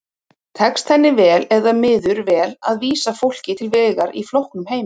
Tekst henni vel eða miður vel að vísa fólki til vegar í flóknum heimi?